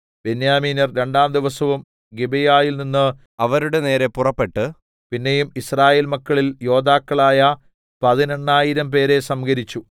ബെന്യാമീന്യർ രണ്ടാം ദിവസവും ഗിബെയയിൽനിന്ന് അവരുടെ നേരെ പുറപ്പെട്ട് പിന്നെയും യിസ്രയേൽ മക്കളിൽ യോദ്ധാക്കളായ പതിനെണ്ണായിരംപേരെ സംഹരിച്ചു